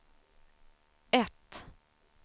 ett